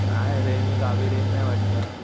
काय रेंज गावी रेंज नाही वाटत.